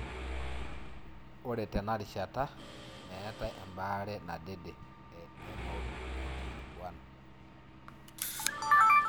Ore tenarishata metae embaree nadede e MOPD1.